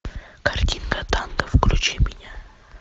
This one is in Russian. картинка танго включи меня